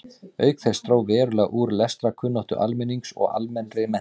Auk þess dró verulega úr lestrarkunnáttu almennings og almennri menntun.